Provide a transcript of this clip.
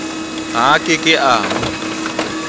ha a ke ke a